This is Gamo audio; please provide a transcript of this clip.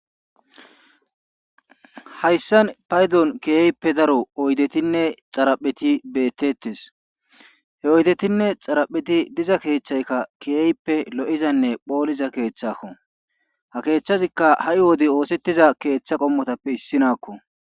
Hayssan paydon keehippe daro oydetinne xarapheti beettetes he oydetinne xarapheti diza keethaykka keehippe lo7izanne phooliza keeththaako ha keethazikka ha7i wode oosethiza keeththa qommotappe issinakko.